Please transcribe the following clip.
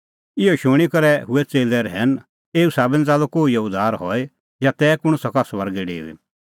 इहअ शूणीं करै हुऐ च़ेल्लै रहैन एऊ साबै निं च़ाल्लअ कोहिओ उद्धार हई या तै कुंण सका स्वर्गै डेऊई